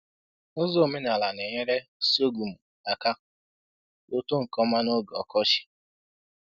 Ụzọ omenala na-enyere sorghum aka k' otoo nke ọma n'oge ọkọchị